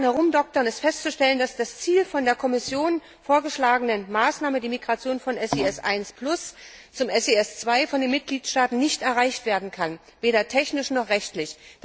Nach acht Jahren Herumdoktern ist festzustellen, dass das Ziel der von der Kommission vorgeschlagenen Maßnahme die Migration von SIS 1 zu SIS II von den Mitgliedstaaten nicht erreicht werden kann, weder technisch noch rechtlich.